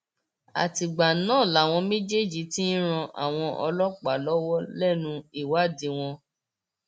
àtìgbà náà làwọn méjèèjì ti ń ran àwọn ọlọpàá lọwọ lẹnu ìwádìí wọn